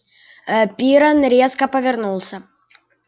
ээ пиренн резко повернулся